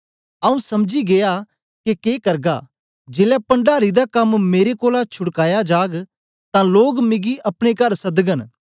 आऊँ समझी गीया के के करगा जेलै पण्डारी दा कम्म मेरे कोलां छुड़काया जाग तां लोक मिगी अपने कर सदगन